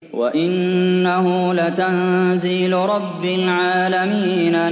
وَإِنَّهُ لَتَنزِيلُ رَبِّ الْعَالَمِينَ